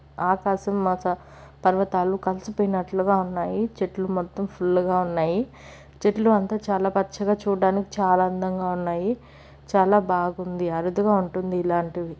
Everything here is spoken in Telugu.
ఆకాశం మచ పర్వతాలు కలిసిపోయినట్టుగా ఉన్నాయి. చెట్లు మొత్తం ఫుల్ గా ఉన్నాయి. చెట్లు అంతా చాలా పచ్చగా చూడడానికి చాలా అందంగా ఉన్నాయి. చాలా బాగుంది అరుదుగా ఉంటుంది ఇలాంటిది.